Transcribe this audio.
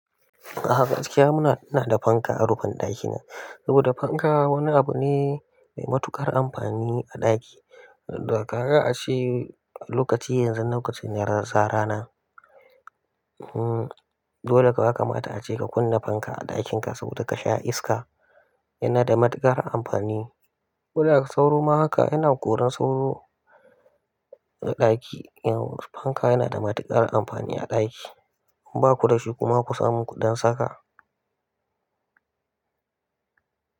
A'a gaskiya muna da fanka a rufin ɗakina saboda fanka wani abu ne mai matuƙar amfani a ɗaki. Dakaga a ce lokaci yanzu lokacin ne za rana. Hmm, dole kuwa yakamata ace ka kunna fanka a ɗakinka saboda ka sha iska. Yana da matuƙar ampani. Koda ka sauro ma haka yana koran sauro a ɗaki. Fanka yana da matuƙar amfani a ɗaki. In baku da shi kuma ku samu ku dan saka.